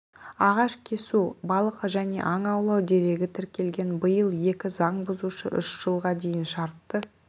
ағаш кесу балық және аң аулау дерегі тіркелген биыл екі заңбұзушы үш жылға дейін шартты